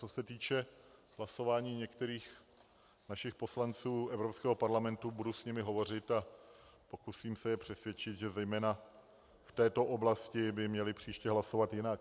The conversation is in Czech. Co se týče hlasování některých našich poslanců Evropského parlamentu, budu s nimi hovořit a pokusím se je přesvědčit, že zejména v této oblasti by měli příště hlasovat jinak.